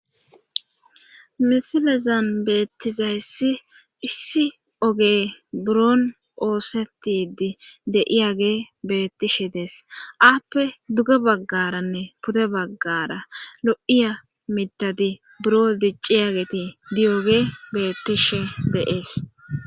misilezan beettizayssi issi oge buron oosetidi de7iyage beettishe dees appe duge baggaranne pude baggara lo7iya mitadi buro dicciyageti diyooge beettishe de'es